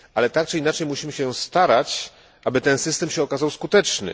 Tak czy inaczej musimy się starać, aby ten system okazał się skuteczny.